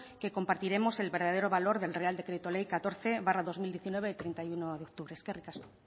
que compartiremos el verdadero valor del real decreto ley catorce barra dos mil diecinueve de treinta y uno de octubre eskerrik asko